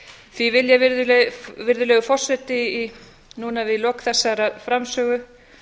því vil ég virðulegur forseti við lok þessarar framsögu